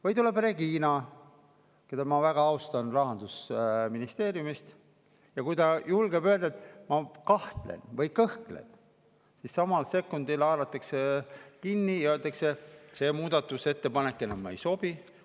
Või tuleb Regina, keda ma väga austan, Rahandusministeeriumist ja kui ta julgeb öelda, et ta kahtleb või kõhkleb, siis samal sekundil haaratakse sellest kinni ja öeldakse, et see muudatusettepanek enam ei sobi.